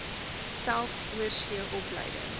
selfs oorsee opleiding